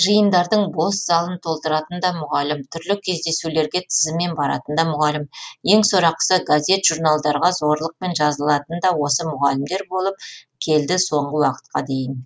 жиындардың бос залын толтыратын да мұғалім түрлі кездесулерге тізіммен баратын да мұғалім ең сорақысы газет журналдарға зорлықпен жазылатын да осы мұғалімдер болып келді соңғы уақытқа дейін